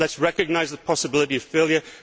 Let us recognise the possibility of failure.